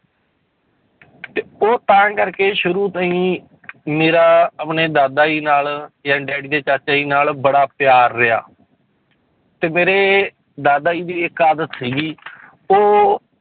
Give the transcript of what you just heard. ਤੇ ਉਹ ਤਾਂ ਕਰਕੇ ਸ਼ੁਰੂ ਤੋਂ ਹੀ ਮੇਰੇ ਆਪਣੇ ਦਾਦਾ ਜੀ ਨਾਲ ਜਾਣੀ ਡੈਡੀ ਦੇ ਚਾਚਾ ਜੀ ਨਾਲ ਬੜਾ ਪਿਆਰ ਰਿਹਾ ਤੇ ਮੇਰੇ ਦਾਦਾ ਜੀ ਦੀ ਇੱਕ ਆਦਤ ਸੀਗੀ ਉਹ